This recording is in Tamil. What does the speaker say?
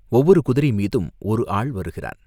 ஒவ்வொரு குதிரை மீதும் ஒரு ஆள் வருகிறான்.